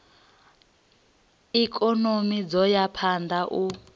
ikonomi dzo ya phanda u